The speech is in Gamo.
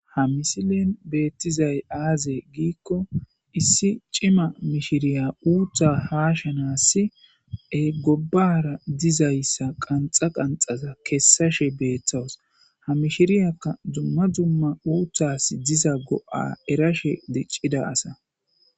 Ha misilen betizay aze giko issi cima mishiriya uutha hashanasi gobara dizaysa qanxa qanxada kesashe betawus ha mishiriyaka dumma dumma uuthas diza go'a erashe dicida asa